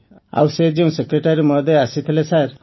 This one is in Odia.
ଆଉ ସେ ଯେଉଁ ସେକ୍ରେଟାରୀ ମହୋଦୟ ଆସିଥିଲେ ସାର୍